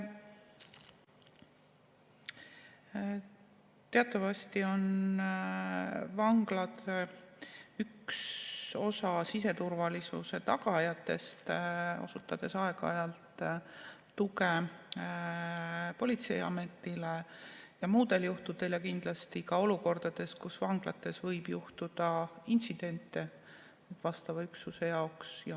Teatavasti on vanglad üks siseturvalisuse tagajatest, andes aeg-ajalt tuge politseiametile ja kindlasti ka muudel juhtudel, olukordades, kus vanglates võib juhtuda intsidente vastava üksuse jaoks.